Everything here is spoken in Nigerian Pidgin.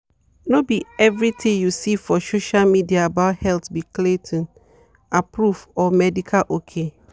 no be everything you see for social media about health be clayton-approved or medical ok.